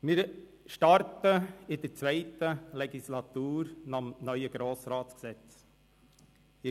Wir beginnen die zweite Legislatur gemäss dem neuen Gesetz über den Grossen Rat vom 4. Juni 2013 (Grossratsgesetz, GRG).